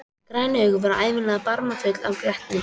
Græn augun voru ævinlega barmafull af glettni.